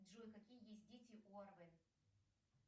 джой какие есть дети у арвен